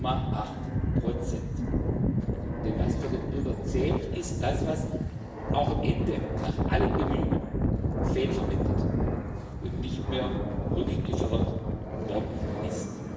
0,8 Denn was für den Bürger zählt, ist das, was auch am Ende nach allen Bemühungen fehlverwendet und nicht mehr rückgefordert worden ist.